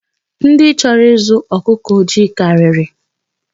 Ndị chọrọ ịzụ ọkụkọ ojii karịrị.